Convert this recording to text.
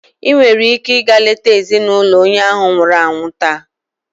Ị nwere ike ịga leta ezinụlọ onye ahu nwụrụ anwụ taa.